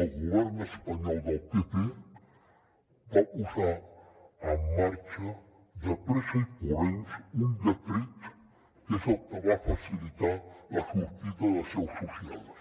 el govern espanyol del pp va posar en marxa de pressa i corrents un decret que és el que va facilitar la sortida de seus socials